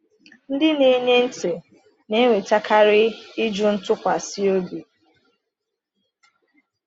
Ndị na-enye ntị na-enwetakarị ịjụ ntụkwasị obi.